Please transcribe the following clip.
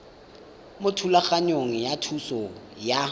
mo thulaganyong ya thuso y